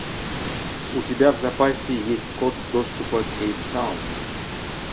у тебя в запасе есть код доступа кейптаун